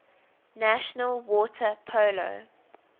national water polo